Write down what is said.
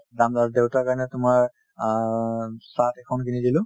দেউতাৰ কাৰণে তোমাৰ অ shirt এখন কিনি দিলো